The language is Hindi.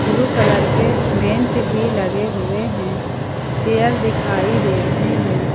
ब्लू कलर के बेंच भी लगे हुए हैं चेयर दिखाई दे रहे हैं ।